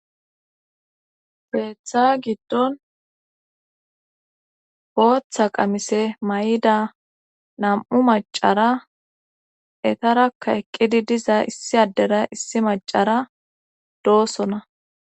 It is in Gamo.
Keetha giddon gooththa qamise may7ida nam7u macara etarakka eqqidi diza issi addera issi macara doosona